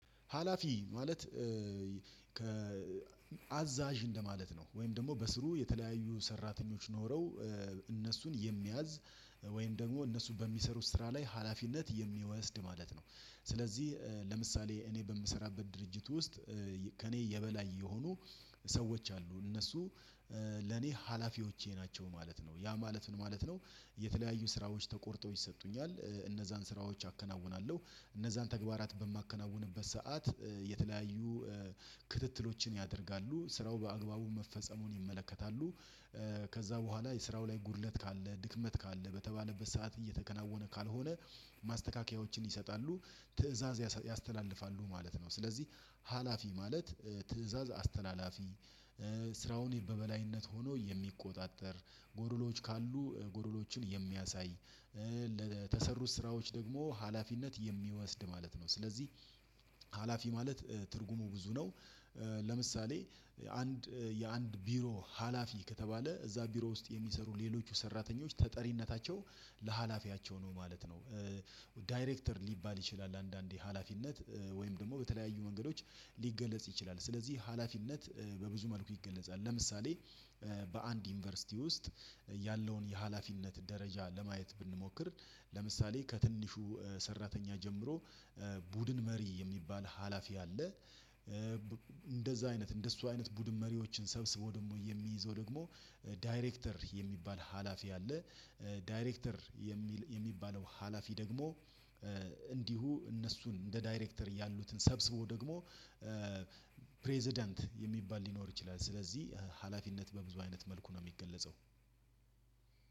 ሀላፊ ማለት አዛዥ እንደማለት ነው። ወይም ደግሞ በስሩ የተለያዩ ሰራተኞች ኖረው እነሱን የሚያዝ ወይም ደግሞ እነሱን በሚሰሩት ስራ ላይ ሀላፊነት የሚወስድ ማለት ነው። ስለዚህ ለምሳሌ እኔ በምሰራበት ድርጅት ውስጥ ከእኔ የበላይ የሆኑ ሰዎች አሉ እነሱ ለኔ ሀላፊዎቼ ናቸው ማለት ነው ያ ማለት ምን ማለት ነው የተለያዩ ስራዎች ተቆርጠው ይሰጡኛል፣ እነዛን ስራዎች አከናውናለሁ እነዛን ተግባራት በማከናውንበት ሰዓት የተለያዩ ክትትሎችን ያደርጋሉ ስራው በአግባቡ መፈጸሙን ይመለከታሉ ከዛ በኋላ የስራው ላይ ጉድለት ካለ ድክመት ካለ በተባለበት ሰዓት እየተከናወነ ካልሆነ ማስተካከያዎችን ይሰጣሉ ትእዛዝ ያስተላልፋሉ ማለት ነው። ስለዚህ ሀላፊ ማለት ትእዛዝ አስተላላፊ ስራውን በበላይነት ሆኖ የሚቆጣጠር ጎዶሎዎች ካሉ ጎዶሎዎችን የሚያሳይ ለተሰሩት ስራዎች ደግሞ ሀላፊነት የሚወስድ ማለት ነው ስለዚህ ሀላፊ ማለት ትርጉሙ ብዙ ነው። ለምሳሌ አንድ የአንድ ቢሮ ሀላፊ ከተባለ እዛ ቢሮ ውስጥ የሚሰሩ ሌሎች ሰራተኞች ተጠሪነታቸው ለሀላፊያቸው ነው ማለት ነው። ዳይሬክተር ሊባል ይችላል አንዳንዴ ሀላፊነት ወይም ደግሞ በተለያዩ መንገዶች ሊገለጽ ይችላል። ስለዚህ ሀላፊነት በብዙ መልኩ ይገለጻል። ለምሳሌ በአንድ ዩኒቨርሲቲ ውስጥ ያለውን የሀላፊነት ደረጃ ለማየት ብንሞክር ለምሳሌ ከትንሹ ሰራተኛ ጀምሮ ቡድን መሪ የሚባል ሀላፊ አለ። እንደዛ አይነት እንደሱ አይነት ቡድን መሪዎችን ሰብስቦ ደግሞ የሚይዘው ደግሞ ዳይሬክተር የሚባል ሀላፊ አለ። ዳይሬክተር የሚባለው ሀላፊ ደግሞ፣ እንዲሁ እነሱን እንደ ዳይሬክተር ያሉትን ሰብስቦ ደግሞ ፕሬዝዳንት የሚባል ሊኖር ይችላል ስለዚህ ሀላፊነት በብዙ አይነት መልኩ ነው የሚገለጸው